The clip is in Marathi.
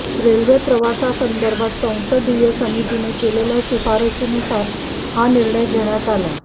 रेल्वे प्रवासासंदर्भात संसदीय समितीने केलेल्या शिफारशीनुसार हा निर्णय घेण्यात आला